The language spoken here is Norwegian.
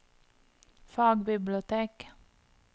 fagbibliotek